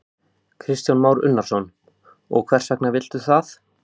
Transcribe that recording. Kristján Már Unnarsson: Og hvers vegna viltu það?